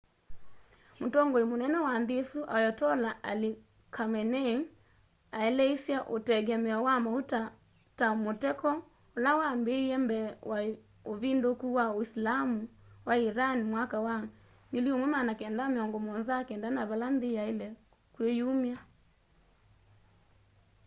mutongoi mũnene wa nthĩ ĩsũ ayotollah ali khameneĩ aeleĩsye ũtengemeo wa maũta ta mũteko ũla wambĩĩe mbee wa ũvĩndũkũ wa ũĩsilamũ wa ĩran mwaka wa 1979 na vala nthĩ yaĩle kwĩyũmya